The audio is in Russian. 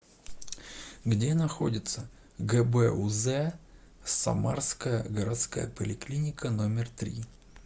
где находится гбуз самарская городская поликлиника номер три